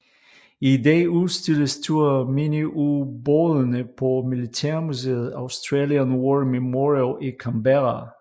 I dag udstilles to af miniubådene på militærmuseet Australian War Memorial i Canberra